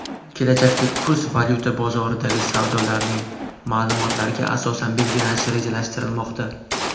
Kelajakda kurs valyuta bozoridagi savdolarning ma’lumotlariga asosan belgilanishi rejalashtirilmoqda.